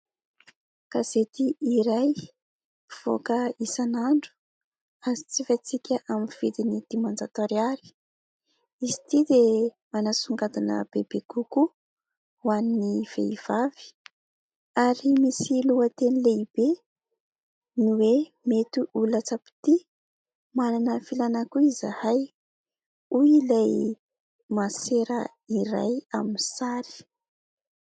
Gazety iray mivoaka isan'andro ary jifaintsika amin'ny vidiny dimanjato ariary. Izy ity dia manasongadina bebe kokoa ho an'ny vehivavy ary misy lohateny lehibe ny hoe :" Mety ho latsam-pitia, manana filana koa izahay. " Hoy ilay masera iray amin'ny sary.